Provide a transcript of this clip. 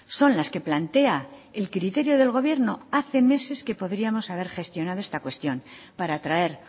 son las que plantea el criterio del gobierno hace meses que podríamos haber gestionado esta cuestión para traer